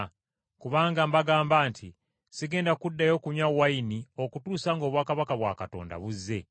Kubanga mbagamba nti, Sigenda kuddayo kunywa ku kibala kya muzabbibu okutuusa ng’obwakabaka bwa Katonda buzze.”